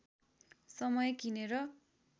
समय किनेर